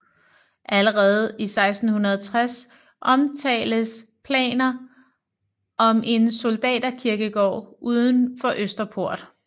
Allerede i 1660 omtales planer om en soldaterkirkegård uden for Østerport